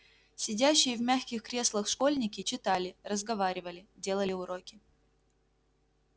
сидящие в мягких креслах школьники читали разговаривали делали уроки